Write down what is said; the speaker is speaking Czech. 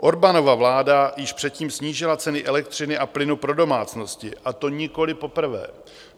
Orbánova vláda již předtím snížila ceny elektřiny a plynu pro domácnosti, a to nikoli poprvé.